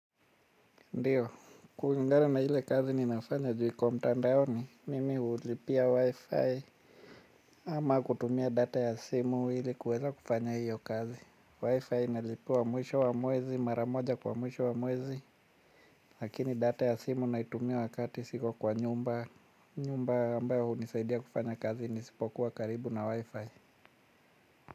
Ndiyo, kulingana na hile kazi ninayofanya ju iko mtandaoni, mimi hulipia wi-fi ama kutumia data ya simu ili kuweza kufanya hiyo kazi. Wi-fi inalipiwa mwisho wa mwezi, maramoja kwa mwisho wa mwezi, lakini data ya simu naitumia wakati siko kwa nyumba, nyumba ambayo unisaidia kufanya kazi nisipokuwa karibu na wi-fi.